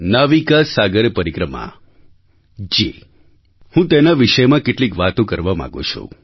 નાવિકા સાગર પરિક્રમા જી હું તેના વિષયમાં કેટલીક વાતો કરવા માગું છું